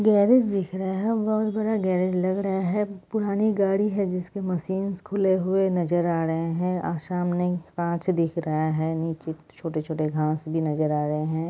Garage दिख रहे हैं बहुत बड़ा गेरज लग रहा है पुरानी गाड़ी है जिसके मशीन्स खुले हुए नजर आ रहे हैं अ सामने कांच दिख रहा है नीचे छोटे-छोटे घास भी नजर आ रहे हैं।